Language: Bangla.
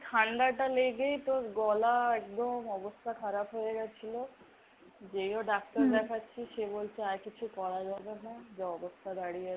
ঠান্ডাটা লেগেই তোর গলা একদম অবস্থা খারাপ হয়েগেছিলো। যেও দেখাচ্ছি সে বলছে আর কিছু করা যাবে না যা অবস্থা দাঁড়িয়েছে।